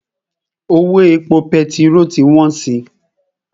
Owó epo pẹtirolu ti wọ́n si.